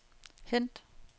hent